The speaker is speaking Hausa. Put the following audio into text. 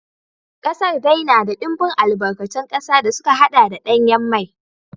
Kasar dai na da dimbin albarkatun kasa da suka haɗa da danyen mai.